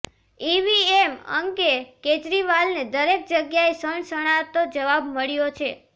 EVM અંગે કેજરીવાલને દરેક જગ્યાએ સણસણતો જવાબ મળ્યો છે